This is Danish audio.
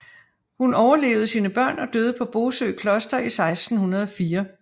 Hun overlevede sine børn og døde på Bosø Kloster i 1604